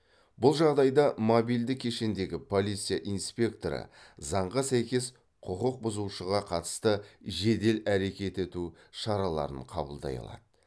бұл жағдайда мобильді кешендегі полиция инспекторы заңға сәйкес құқық бұзушыға қатысты жедел әрекет ету шараларын қабылдай алады